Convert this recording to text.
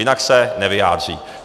Jinak se nevyjádří.